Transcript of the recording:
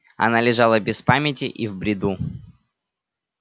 она лежала без памяти и в бреду